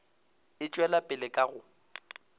e tšwela pele ka go